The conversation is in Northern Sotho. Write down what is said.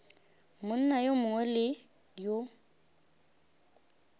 monna yo mongwe le yo